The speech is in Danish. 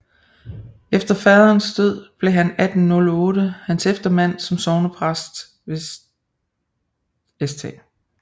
Efter Faderens Død blev han 1608 hans Eftermand som Sognepræst ved St